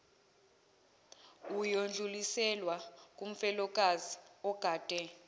uyodluliselwa kumfelokazi ogade